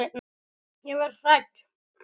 Ég verð hrædd.